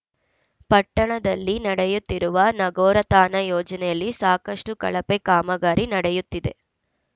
ಪಟ್ಟಣದಲ್ಲಿ ನಡೆಯುತ್ತಿರುವ ನಗರೋತ್ಥಾನ ಯೋಜನೆಯಲ್ಲಿ ಸಾಕಷ್ಟುಕಳಪೆ ಕಾಮಗಾರಿ ನಡೆಯುತ್ತಿದೆ